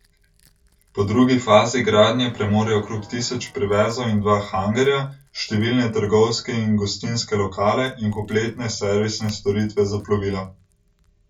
Po drugi fazi gradnje premore okrog tisoč privezov in dva hangarja, številne trgovske in gostinske lokale in kompletne servisne storitve za plovila.